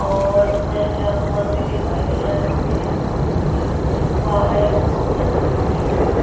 और ऊपर से आसमान भी दिखाई दे रहा है यहां पे । ये कार है बोहोत अच्छी ख़ड़ी है यहां पे।